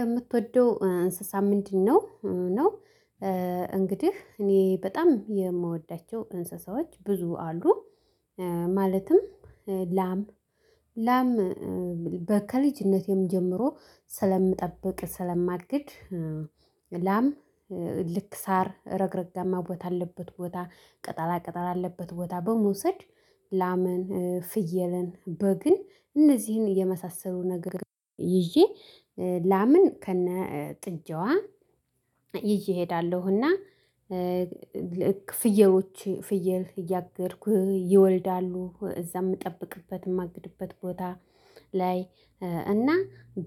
የምትወደው እንስሳ ምንድነው ነው? እንግዲህ እኔ በጣም የምወዳቸው እንስሳዎች ብዙ አሉ። ማለትም ላም ላም በከልጅነቴም ጀምሮ ስለምጠብቅ ስለማግድ። ላም ልክ ሳር ረግረጋማ ቦታ አለበት ቦታ ቅጠላ ቅጠል አለበት ቦታ በመውሰድ ላምን ፍየለን በግን እነዚህን የመሳሰሉ ነገር ይዤ ላምን ከነ ጥጃዋ ይዤሄ እሄዳለሁና። ፍየሎች ፍየል እያገድኩ ይወልዳሉ እዛም እጠብቅበትም አግድበት ቦታ ላይ እና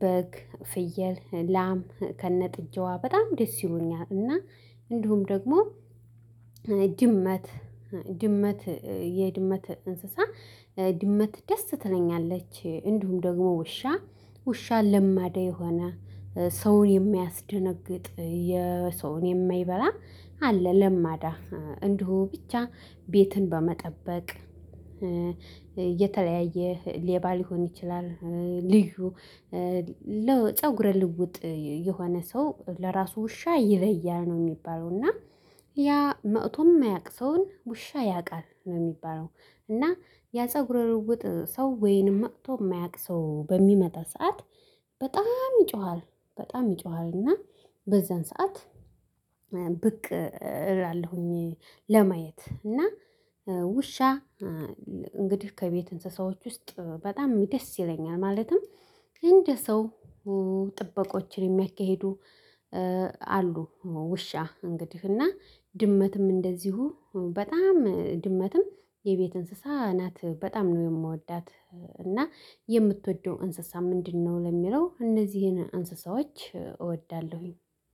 በግ ፍየል ላም ከነጥጃዋ በጣም ደስ ይሉኛል። እና እንዲሁም ደግሞ ድመት ድመት የድመት እንስሳ ድመት ደስ ትለኛለች እንዲሁም ደግሞ ውሻ ውሻ ለማዳ የሆነ ሰውን የማያስደነግጥ የሰውን የማይበላ አለ። ለማዳ እንዲሁ ብቻ ቤትን በመጠበቅ የተለያየ ሌባ ሊሆን ይችላል። ልዩ ለፀጉረ ልውጥ የሆነ ሰው ለራሱ ውሻ ይለያል ነው የሚባለው እና ያ መቶም የማያውቅ ሰውን ውሻ ያውቃል ነው የሚባለው። እና ያ ፀጉረ ልውጥ ሰው ወይንም መቶ የማያውቅ ሰው በሚመጣ ሰዓት በጣም ይጮሃል። በጣም ይጮሃል እና በዛን ሰዓት ብቅ እላለሁኝ ለማየት እና ውሻ እንግዲህ ከቤት እንስሳዎች ውስጥ በጣም ደስ ይለኛል። ማለትም እንደ ሰው ጥበቆችን የሚያካሂዱ አሉ። ውሻ እንግዲህ እና ድመትም እንደዚሁ በጣም ድመትም የቤት እንስሳ ናት በጣም ነው የምወዳት። እና የምትወደው እንስሳ ምንድነው? ለሚለው እነዚህን እንስሳዎች እወዳለሁኝ።